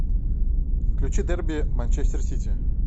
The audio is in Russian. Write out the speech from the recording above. включи дерби манчестер сити